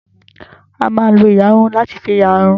A máa lo ìyarun láti fi ìyarun.